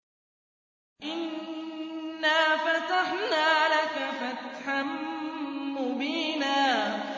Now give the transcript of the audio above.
إِنَّا فَتَحْنَا لَكَ فَتْحًا مُّبِينًا